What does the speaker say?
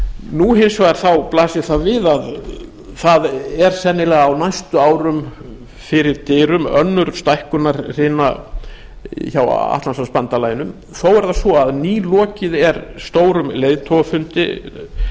nú hins vegar blasir það við að það er sennilega á næstu árum fyrir dyrum önnur stækkunarhrina hjá atlantshafsbandalaginu þó er það svo að nýlokið er stórum leiðtogafundi